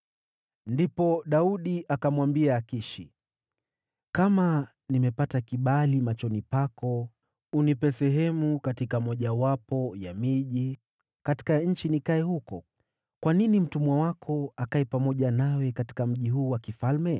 Ndipo Daudi akamwambia Akishi, “Kama nimepata kibali machoni pako, unipe sehemu katika mojawapo ya miji katika nchi nikae huko. Kwa nini mtumwa wako akae pamoja nawe katika mji huu wa kifalme?”